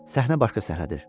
Səhnə başqa səhnədir.